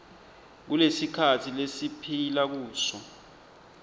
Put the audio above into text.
kulesikhatsi lesiphila kuso